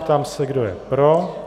Ptám se, kdo je pro.